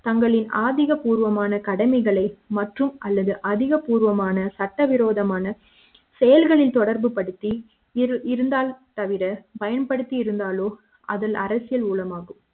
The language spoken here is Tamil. தங்களின் அதிக பூர்வமான கடமைகளை மற்றும் அல்லது அதிகபூர்வமான சட்டவிரோதமான செயல்களில் தொடர்பு படுத்தி இருந்தால் தவிர பயன்படுத்தி இருந்தாலோ அதில் அரசியல் ஊழலாகும்